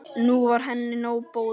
Nú var henni nóg boðið.